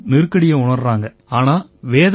ஆசிரியர்களும் நெருக்கடியை உணர்றாங்க